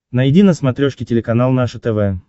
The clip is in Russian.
найди на смотрешке телеканал наше тв